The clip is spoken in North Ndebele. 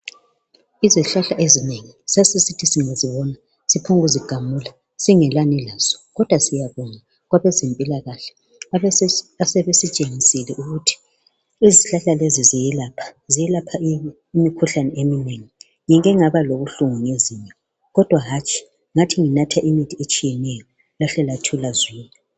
Izihlahla ezinengi sasisithi singazibona siphombu kuzigamula singelani lazo .Kodwa siyabonga kwabezempilakahle .Asebesitshengisile ukuthi izihlahla lezi ziyelapha .Ziyelapha imikhuhlane eminengi .Ngike ngaba lobuhlungu ngezinyo kodwa hatshi ngathi nginatha imithi etshiyeneyo lahle lathula zwi .